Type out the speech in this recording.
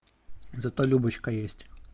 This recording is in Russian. зато любочка есть